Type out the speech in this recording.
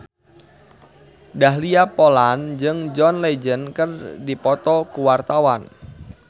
Dahlia Poland jeung John Legend keur dipoto ku wartawan